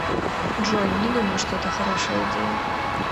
джой не думаю что это хорошая идея